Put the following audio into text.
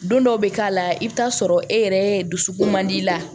Don dɔw bɛ k'a la i bɛ t'a sɔrɔ e yɛrɛ dusukun man di la